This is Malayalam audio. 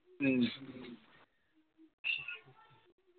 മ്മ്